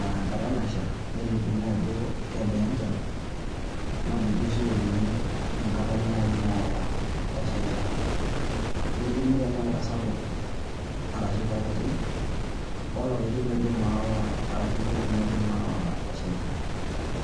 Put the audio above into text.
ee engata nasha nelimuni ajo kebaa enchan, naa ninche sii oolimu enkata nayii Naya esheita, nelimu tenaa kesapuk tenaa kekitie olapaitin ashu engolong'i naidim aawa esheita.